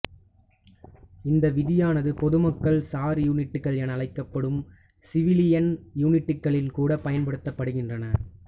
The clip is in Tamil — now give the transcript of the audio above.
இந்த விதியானது பொதுமக்கள் சார் யூனிட்கள் என அழைக்கப்படும் சிவிலியன் யூனிட்களில் கூட பயன்படுத்தப்படுகின்றன